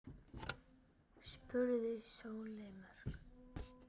spurði Sóley Björk.